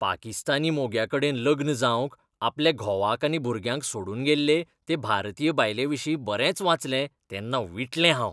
पाकिस्तानी मोग्याकडेन लग्न जावंक आपल्या घोवाक आनी भुरग्यांक सोडून गेल्ले ते भारतीय बायलेविशीं बरेंच वाचलें तेन्ना विटलें हांव.